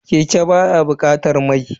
Keke baya bukatar mai.